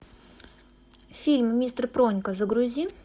фильм мистер пронька загрузи